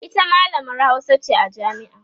ita mallamar Hausa ce a jami'a